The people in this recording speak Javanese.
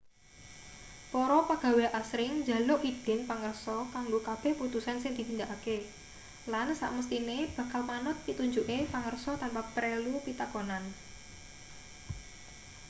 para pagawe asring njaluk idin pangarsa kanggo kabeh putusan sing ditindakake lan samesthine bakal manut pitunjuke pangarsa tanpa prelu pitakonan